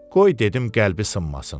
Qoy dedim qəlbi sınmasın.